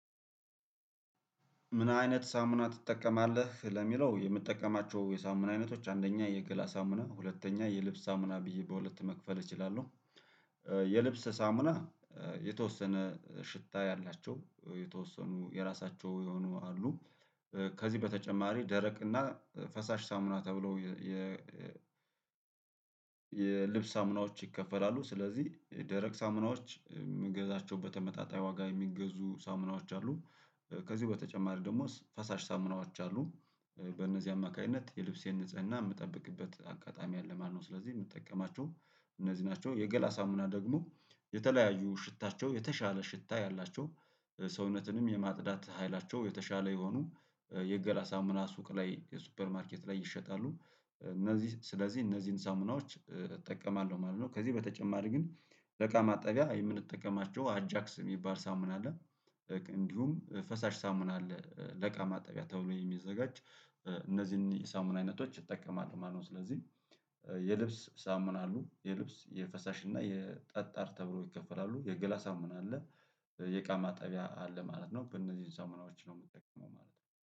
ምን አይነት ሳሙና ትጠቀማለህ ለሚለው የምጠቀማቸው የሳሙና አይነቶች አንደኛ የገላ ሳሙና ሁለተኛ የልብስ ሳሙና ብዬ በሁለት መክፈል እችላለሁ። የልብስ ሳሙና የተወሰነ ሽታ ያላቸው የተወሰኑ የራሳቸው የሆኑ አሉ። ከዚህ በተጨማሪ ደረቅ እና ፈሳሽ ሳሙና ተብሎ የ የልብስ ሳሙናዎች ይከፈላሉ። ስለዚህ ደረቅ ሳሙናዎች የምገዛቸው በተመጣጣኝ ዋጋ የሚገዙ ሳሙናዎች አሉ። ከዚህ በተጨማሪ ደግሞ ፈሳሽ ሳሙናዎች አሉ። በእነዚህ አማካኝነት የልብሴን ንጽህና የምጠብቅበት አጋጣሚ አለ ማለት ነው። ስለዚህ የምትጠቀማቸው እነዚህ ናቸው። የገላ ሳሙና ደግሞ የተለያዩ ሽታቸው የተሻለ ሽታ ያላቸው ሰውነትንም የማጽዳት ኃይላቸው የተሻለ የሆኑ የገላ ሳሙና ሱቅ ላይ የሱፐር ማርኬት ላይ ይሸጣሉ እነዚህ ስለዚህ እነዚህን ሳሙናዎች እጠቀማለሁ ማለት ነው። ከዚህ በተጨማሪ ግን ለእቃ ማጠቢያ የምንጠቀማቸው አጃክስ የሚባል ሳሙና አለ። እንዲሁም ፈሳሽ ሳሙና አለ ለእቃ ማጠቢያ ተብሎ የሚዘጋጅ እነዚህን ሳሙና አይነቶች እጠቀማለው ማለት ነው። ስለዚህ የልብስ ሳሙና አሉ የልብስ የፈሳሽ እና የጠጣር ተብሎ ይከፈላሉ የገላ ሳሙና አለ። የእቃ ማጠቢያ አለ ማለት ነው በእነዚህ ሳሙናዎች ነው የምጠቀመው ማለት ነው